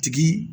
Tigi